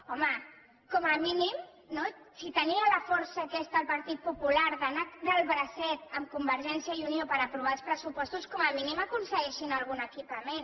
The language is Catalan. home com a mínim no si tenia la força aquesta el partit popular d’anar del bracet amb convergència i unió per aprovar els pressupostos com a mínim aconsegueixin algun equipament